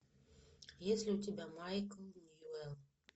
есть ли у тебя майкл ньюэлл